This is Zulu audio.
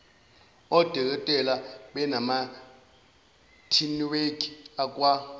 odokotela bamanethiwekhi akwa